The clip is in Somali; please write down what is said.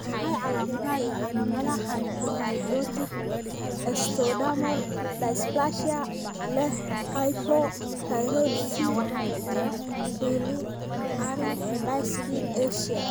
Waa maxay calaamadaha iyo calaamadaha hypohidrotic ectodermal dysplasia leh hypothyroidism iyo ciliary dyskinesia?